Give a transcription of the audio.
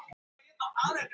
Hann horfir á hana.